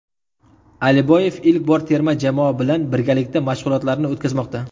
Aliboyev ilk bor terma jamoa bilan birgalikda mashg‘ulotlarni o‘tkazmoqda.